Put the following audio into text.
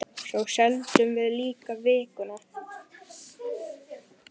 Svo seldum við líka Vikuna.